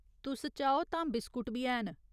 तुस चाहो तां बिस्कुट बी हैन।